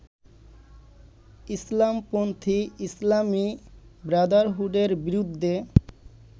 ইসলামপন্থী ইসলামী ব্রাদারহুডের বিরুদ্ধে